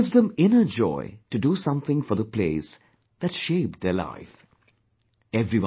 It gives them inner joy to do something for the place that shaped their life...